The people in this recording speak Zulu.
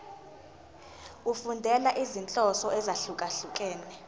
efundela izinhloso ezahlukehlukene